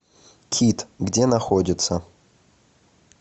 кит где находится